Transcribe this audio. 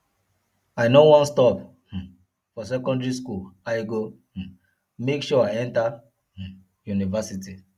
i no wan stop um for secondary school i go um make sure i enter um university